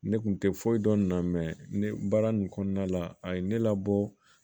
Ne kun tɛ foyi dɔn ne na mɛ ne baara nin kɔnɔna la a ye ne labɔ